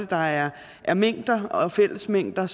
der er er mængder og fællesmængder